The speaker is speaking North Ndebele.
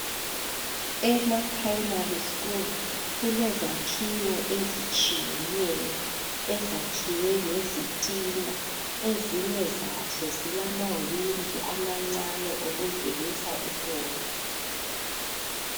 ema primary kulezakhiwo ezitshiyeneyo ezakhiwe ngezitina ezinye zazozilama windi amancane angenisa umoya